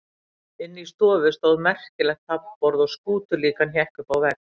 Inni í stofu stóð merkilegt taflborð og skútulíkan hékk uppi á vegg.